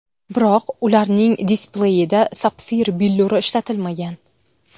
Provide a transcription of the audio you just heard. Biroq ularning displeyida sapfir billuri ishlatilmagan.